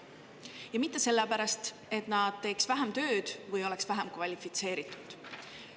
Ja mitte sellepärast, et nad teeks vähem tööd või oleks vähem kvalifitseeritud.